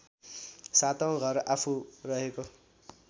सातौँ घर आफू रहेको